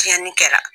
Tiɲɛni kɛra